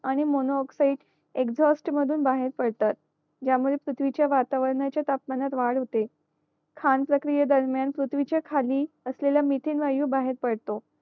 आणि mono oxide exhaust मधून बाहेर पडत ज्या मुळे पृथ्वीच्या वातावरणाच्या तापमानात वाढ होते खान प्रक्रिये दरम्यान पृथ्वीचे खाली असलेला मिथेन वायू बाहेर पडतो